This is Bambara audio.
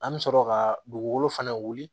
An bɛ sɔrɔ ka dugukolo fana wuli